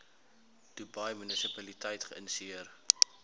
dubai munisipaliteit geïnisieer